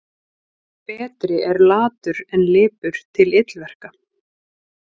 Betri er latur en lipur til illverka.